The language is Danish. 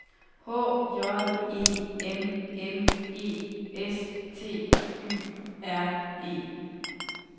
H J E M M E S T Y R E